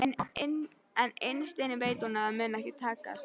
En innst inni veit hún að það mun ekki takast.